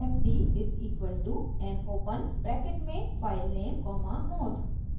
fd = mopen bracket में filename comma mode